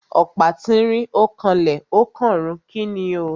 Ọ̀pá tínrín ó kanlẹ̀ ó kànrun. Kíni o?